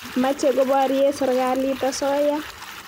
mache koparie serikalit asoya